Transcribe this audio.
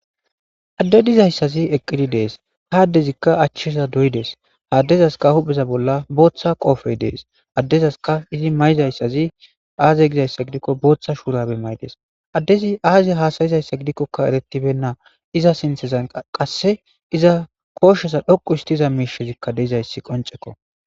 Adde dizayssazi eqqidi dees ha addezikka achcheza doydes haaddezaska hupheza bolla booththa qoofey dees addezaska izi mayizayssazi aaze gizayssa gidikko booththa shuurabe may'des addezi aaze haasayizayssa gidikkoka eretibenna iza sinthezan qasse iza kooshsheza dhoqu histiza miishezikka deizayssi qonceko